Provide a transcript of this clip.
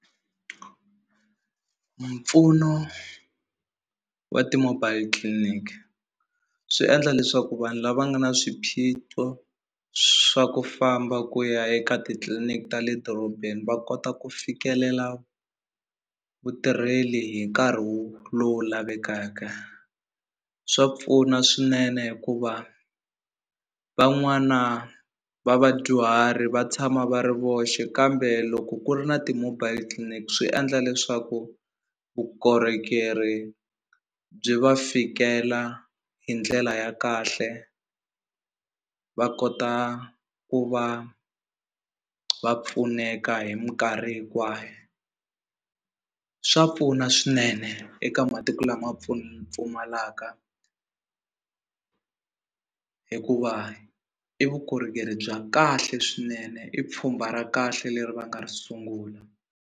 Mpfuno wa ti-mobile clinic swi endla leswaku vanhu lava nga na swiphiqo swa ku famba ku ya eka titliliniki ta le dorobeni va kota ku fikelela vutirheli hi nkarhi wu lowu lavekaka swa pfuna swinene hikuva van'wana va vadyuhari va tshama va ri voxe kambe loko ku ri na ti-mobile clinic swi endla leswaku vukorhokeri byi va fikela hi ndlela ya kahle va kota ku va va pfuneka hi minkarhi hinkwayo swa pfuna swinene eka matiko lama pfumalaka hikuva i vukorhokeri bya kahle swinene i pfhumba ra kahle leri va nga ri sungula.